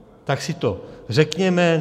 Tak si to řekněme.